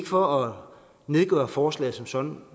for at nedgøre forslaget som sådan